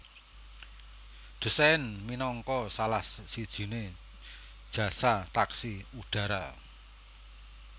Dessain minangka salah sijine jasa taksi udara